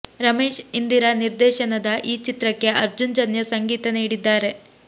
ರಮೇಶ್ ಇಂದಿರಾ ನಿರ್ದೇಶನದ ಈ ಚಿತ್ರಕ್ಕೆ ಅರ್ಜುನ್ ಜನ್ಯ ಸಂಗೀತ ನೀಡಿದ್ದಾರೆ